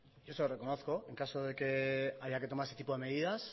yo se lo reconozco en caso de que haya que tomar ese tipo de medidas